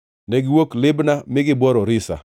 Negiwuok Libna mi gibworo Risa.